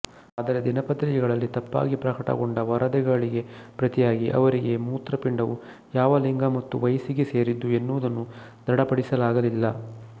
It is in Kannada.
ಆದರೆ ದಿನಪತ್ರಿಕೆಗಳಲ್ಲಿ ತಪ್ಪಾಗಿ ಪ್ರಕಟಗೊಂಡ ವರದಿಗಳಿಗೆ ಪ್ರತಿಯಾಗಿ ಅವರಿಗೆ ಮೂತ್ರಪಿಂಡವು ಯಾವ ಲಿಂಗ ಮತ್ತು ವಯಸ್ಸಿಗೆ ಸೇರಿದ್ದು ಎನ್ನುವುದನ್ನು ದೃಢಪಡಿಸಲಾಗಲಿಲ್ಲ